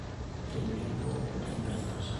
tenebo empikata